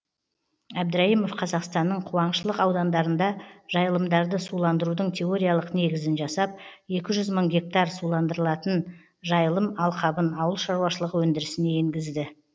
әбдірайымов қазақстанның қуаңшылық аудандарында жайылымдарды суландырудың теориялық негізін жасап екі жүз мың гектар суландырылатын жайылым алқабын ауыл шаруашылығы өндірісіне енгізді